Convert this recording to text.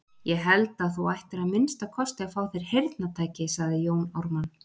Ég held að þú ættir að minnsta kosti að fá þér heyrnartæki, sagði Jón Ármann.